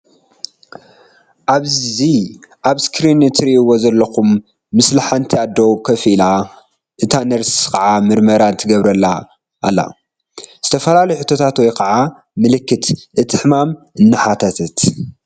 እዚ ኣብ እስክሪን እትሪእዎ ዘለኩም ምስሊ ሓንቲ ኣዶ ኮፍ ኢላ እታ ነርስ ከዓ ምርመራ ትገብረላ ኣላ ዝተፈላለዩ ሕቶታት ወይ ከኣ ምልክት እቲ ሕማም እናሓተተት